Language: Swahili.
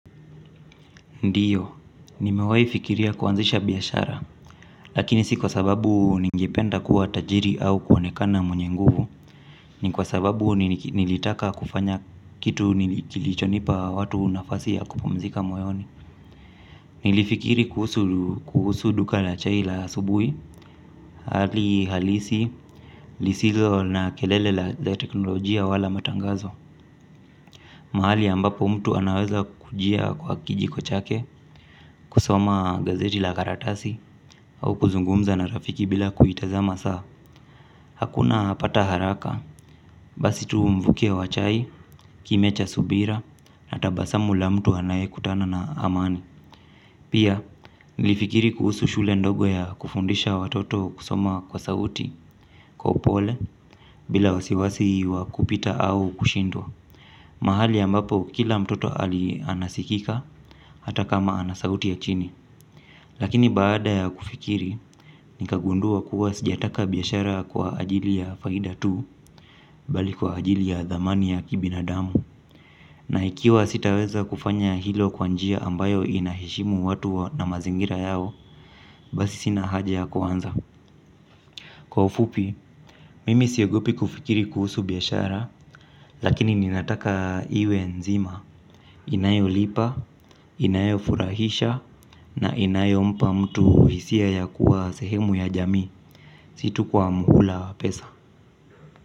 Ndiyo, nimewahi fikiria kuanzisha biashara, lakini si kwa sababu ningependa kuwa tajiri au kuonekana mwenye nguvu, ni kwa sababu nilitaka kufanya kitu kilichonipa watu nafasi ya kupumzika moyoni. Nilifikiri kuhusu duka la chai la asubuhi, hali halisi, lisizo na kelele la teknolojia wala matangazo. Mahali ambapo mtu anaweza kujia kwa kijiko chake kusoma gazeti la karatasi au kuzungumza na rafiki bila kuitazama saa. Hakuna pata haraka basi tu mvukio wa chai kime cha subira na tabasamu la mtu anaye kutana na amani. Pia nilifikiri kuhusu shule ndogo ya kufundisha watoto kusoma kwa sauti kwa upole bila wasiwasi wa kupita au kushindwa. Mahali ambapo kila mtoto ali anasikika hata kama ana sauti ya chini. Lakini baada ya kufikiri ni kagundua kuwa sijataka biashara kwa ajili ya faida tu bali kwa ajili ya dhamani ya kibinadamu. Na ikiwa sitaweza kufanya hilo kwa njia ambayo inaheshimu watu na mazingira yao basi sina haja ya kuanza. Kwa ufupi, mimi siogopi kufikiri kuhusu biashara lakini ninataka iwe nzima. Inayo lipa, inayo furahisha na inayo mpa mtu hisia ya kuwa sehemu ya jamii. Situ kwa mhula wa pesa.